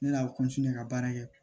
Ne y'a ka baara kɛ